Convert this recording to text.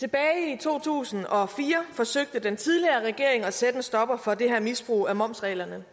i to tusind og fire forsøgte den tidligere regering at sætte en stopper for det her misbrug af momsreglerne